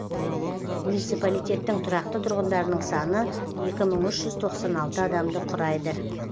муниципалитеттің тұрақты тұрғындарының саны екі мың үш жүз тоқсан алты адамды құрайды